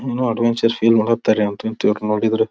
ಇನ್ನು ಆಡೋ ಮುಂಚೆ ಫೀಲ್ ಮಾಡಿ ಇವ್ರ್ ನೋಡಿದ್ರೆ.